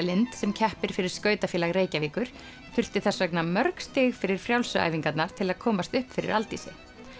Lind sem keppir fyrir skautafélag Reykjavíkur þurfti þess vegna mörg stig fyrir frjálsu æfingarnar til að komast upp fyrir Aldísi